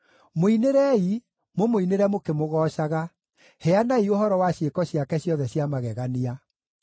Mũinĩrei, mũmũinĩre mũkĩmũgoocaga; heanai ũhoro wa ciĩko ciake ciothe cia magegania.